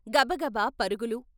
గబగబ పరుగులు.